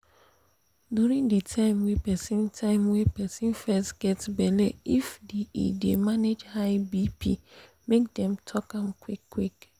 during the time wey persin time wey persin fest get belle iff the e dey manage high bp make dem talk am qik qik